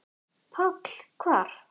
PÁLL: Hvar?